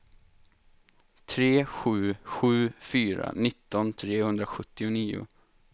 tre sju sju fyra nitton trehundrasjuttionio